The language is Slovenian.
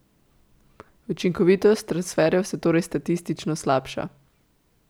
Učinkovitost transferjev se torej statistično slabša.